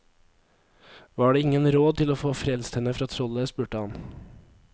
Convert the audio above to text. Var det ingen råd til å få frelst henne fra trollet, spurte han.